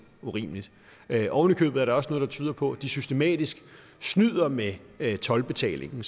urimeligt ovenikøbet er der også noget der tyder på at de systematisk snyder med toldbetalingen